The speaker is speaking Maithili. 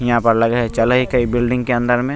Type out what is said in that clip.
यहाँ पर लगए है चलेए के बिल्डिंग के अंदर में।